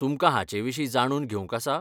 तुमकां हाचेविशीं जाणून घेवंक आसा?